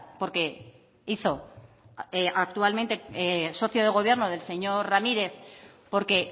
porque hizo actualmente socio de gobierno del señor ramírez porque